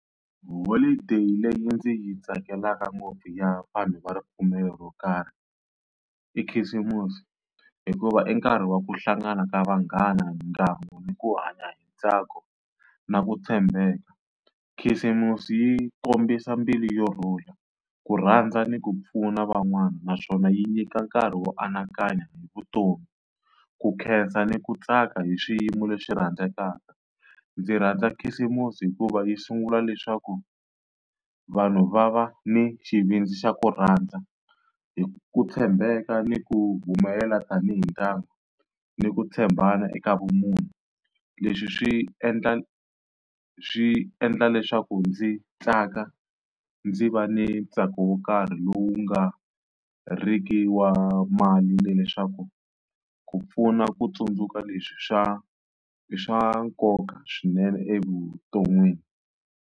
Holideyi leyi ndzi yi tsakelaka ngopfu ya vanhu va ripfumelo ro karhi i Khisimusi, hikuva i nkarhi wa ku hlangana ka vanghana, ndhawu ni ku hanya hi ntsako, na ku tshembeka. Khisimusi yi kombisa mbilu yo rhula ku rhandza ni ku pfuna van'wana naswona yi nyika nkarhi wo anakanya hi vutomi ku khensa ni ku tsaka hi swiyimo leswi rhandzekaka. Ndzi rhandza khisimusi hikuva yi sungula leswaku vanhu va va ni xivindzi xa ku rhandza hi ku tshembeka ni ku humelela tanihi ndyangu ni ku tshembana eka vumunhu. Leswi swi endla swi endla leswaku ndzi tsaka ndzi va ni ntsako wo karhi lowu nga riki wa mali leswaku ku pfuna ku tsundzuka leswi swa i swa nkoka swinene evuton'wini.